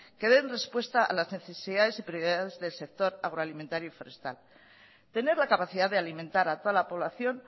que den respuesta a las necesidades y prioridades del sector agroalimentario y forestal tener la capacidad de alimentar a toda la población